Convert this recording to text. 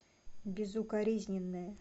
безукоризненная